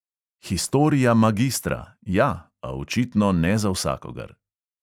Historia magistra, ja, a očitno ne za vsakogar.